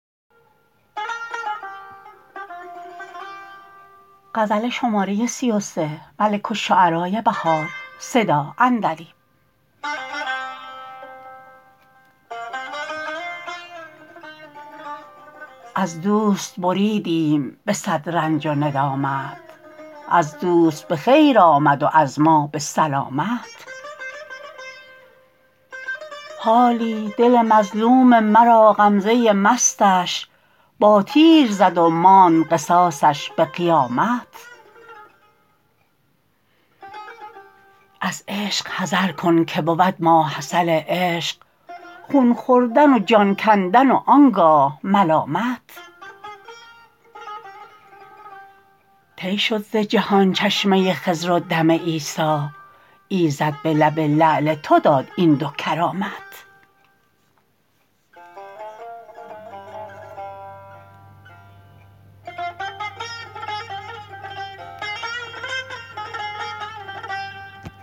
از دوست بریدیم به صد رنج و ندامت از دوست به خیر آمد و از ما به سلامت حالی دل مظلوم مرا غمزه مستش با تیر زد و ماند قصاصش به قیامت از عشق حذرکن که بود ماحصل عشق خون خوردن و جان کندن و آنگاه ملامت طی شد زجهان چشمه خضر ودم عیسی ایزد به لب لعل تو داد این دو کرامت